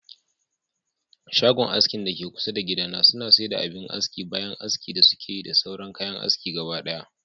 Shagon askin dake kusa da gida na suna saida abin aski bayan aski da sukeyi da sauran kayan aski gabadaya